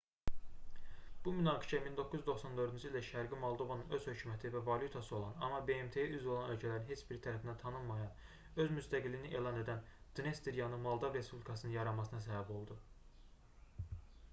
bu münaqişə 1994-cü ildə şərqi moldovanın öz hökuməti və valyutası olan amma bmt-yə üzv olan ölkələrin heç biri tərəfindən tanınmayan öz müstəqiliyini elan edən dnestryanı moldav respublikasının yaranmasına səbəb oldu